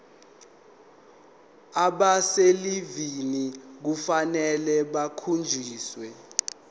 abaselivini kufanele bakhonjiswe